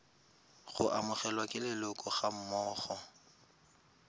go amogelwa ke leloko gammogo